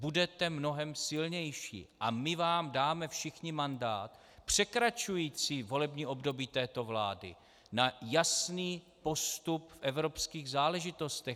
Budete mnohem silnější a my vám dáme všichni mandát překračující volební období této vlády na jasný postup v evropských záležitostech.